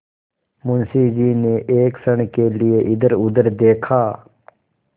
मुंशी जी ने एक क्षण के लिए इधरउधर देखा